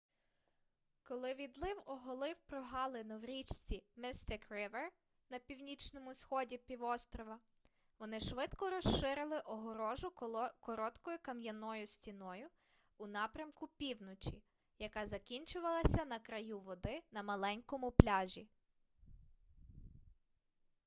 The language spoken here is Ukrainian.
коли відлив оголив прогалину в річці mystic river на північному сході півострова вони швидко розширили огорожу короткою кам'яною стіною у напрямку півночі яка закінчувалася на краю води на маленькому пляжі